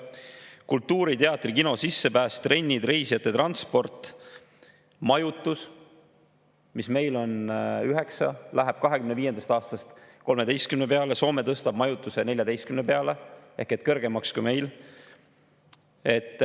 Kultuuri, teatri- ja kino, trennidele, reisijate transpordile, majutusele on meil 9% ja läheb 2025. aastast 13% peale, Soome tõstab majutuse 14% peale ehk kõrgemaks kui meil.